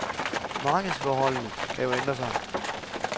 Markedsforholdene kan jo ændre sig.